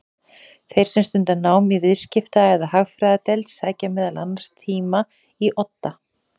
Þeir sem stunda nám í Viðskipta- eða Hagfræðideild sækja meðal annars tíma í Odda.